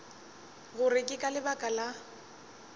gore ke ka lebaka la